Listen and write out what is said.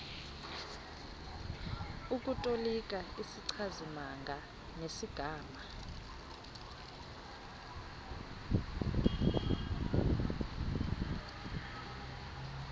ukutolika izichazimagama nesigama